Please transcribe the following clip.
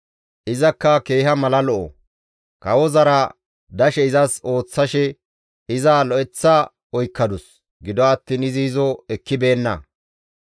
Izakka keeha mala lo7o; kawozara dashe izas ooththashe iza lo7eththa oykkadus; gido attiin izi izo ekkibeenna.